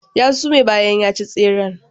Ya sume bayan ya ci tseren.